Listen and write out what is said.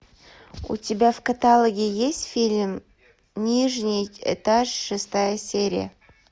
у тебя в каталоге есть фильм нижний этаж шестая серия